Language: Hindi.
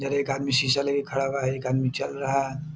उधर एक आदमी शीशा लेकर खड़ा हुआ है एक आदमी चल रहा है।